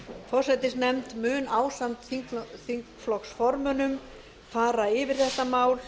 forsætisnefnd mun ásamt þingflokksformönnum fara yfir þetta mál